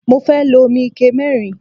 Mo fẹ́ lo omi ike mẹ́rin.